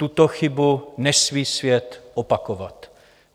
Tuto chybu nesmí svět opakovat.